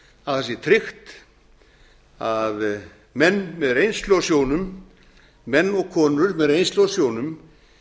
að það sé tryggt að menn með reynslu á sjónum menn og konur með reynslu á sjónum